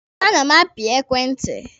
A na m api ekwentị.